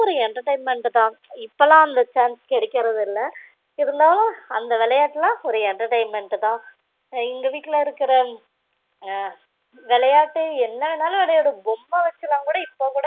ஒரு entertainment தான் இப்போலான் அந்த chance கிடைக்குறது இல்ல இருந்தாலும் அந்த விளையாட்டுலா ஒரு entertainment தான் எங்க வீட்டுல இருக்குற அஹ் விளையாட்டு என்ன வேணாலும் விளையாடு பொம்ம வச்சிலா கூட இப்போ கூட